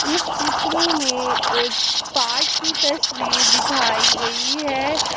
इस चित्र में एक पार्क की तस्वीर दिखाई गई है।